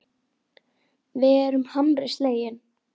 Við erum harmi slegin.